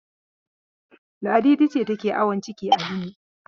Ladidi ce take yin awon ciki a Limi.